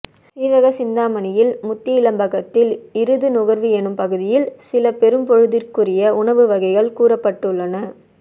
சீவக சிந்தாமணியில் முத்தியிலம்பகத்தில் இருது நுகர்வு என்னும் பகுதியில் சில பெரும்பொழுதிற்குரிய உணவு வகைகள் கூறப்பட்டுள்ளன